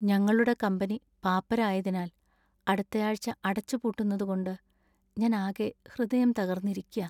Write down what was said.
ഞങ്ങളുടെ കമ്പനി പാപ്പരായതി അടുത്തയാഴ്ച അടച്ചുപൂട്ടുന്നതുകൊണ്ട് ഞാൻ അകെ ഹൃദയം തകർന്നിരിയ്ക്കാ .